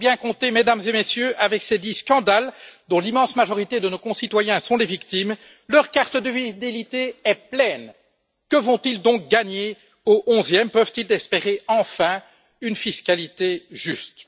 Vous avez bien compté, mesdames et messieurs, avec ces dix scandales, dont l'immense majorité de nos concitoyens sont les victimes, leur carte de fidélité est pleine. Que vont ils donc gagner au onzième, peuvent ils espérer enfin une fiscalité juste?